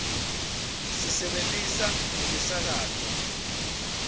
sisebentisa nemisakato